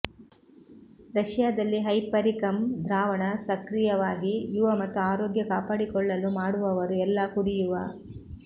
ರಶಿಯಾದಲ್ಲಿ hypericum ದ್ರಾವಣ ಸಕ್ರಿಯವಾಗಿ ಯುವ ಮತ್ತು ಆರೋಗ್ಯ ಕಾಪಾಡಿಕೊಳ್ಳಲು ಮಾಡುವವರು ಎಲ್ಲಾ ಕುಡಿಯುವ